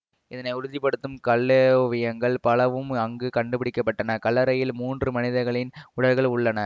இதனை உறுதி படுத்தும் கல்லோவியங்கள் பலவும் அங்கு கண்டுபிடிக்க பட்டன கல்லறையில் மூன்று மனிதர்களின் உடல்கள் உள்ளன